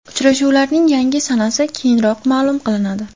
Uchrashuvlarning yangi sanasi keyinroq ma’lum qilinadi.